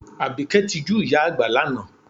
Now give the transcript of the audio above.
Àbíkẹ́ tijú ìyá àgbà lánàá